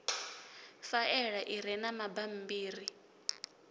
faela i re na mabammbiri